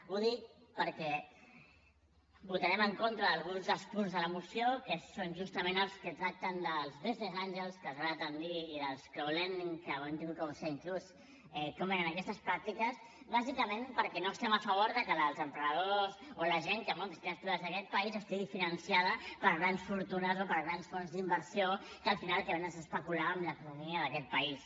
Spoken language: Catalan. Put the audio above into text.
ho dic perquè votarem en contra d’alguns dels punts de la moció que són justament els que tracten dels business angels que els agrada tant dir i dels hem hagut de buscar inclús com eren aquestes pràctiques bàsicament perquè no estem a favor de que els emprenedors o la gent que munta iniciatives privades d’aquest país estigui finançada per grans fortunes o per grans fons d’inversió que al final al que venen és a especular amb l’economia d’aquest país